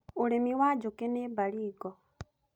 ũrĩmi wa njũki nĩ Baringo.